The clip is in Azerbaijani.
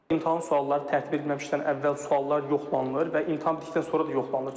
İmtahan sualları tərtib edilməmişdən əvvəl suallar yoxlanılır və imtahan bitdikdən sonra da yoxlanılır.